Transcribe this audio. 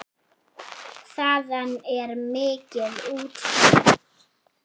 Þaðan er mikið útsýni.